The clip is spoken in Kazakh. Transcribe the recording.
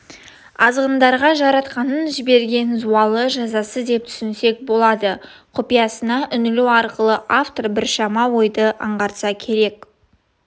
азғындарға жаратқанның жіберген зауалы жазасы деп түсінсек болады құпиясына үңілу арқылы автор біршама ойды аңғартса керек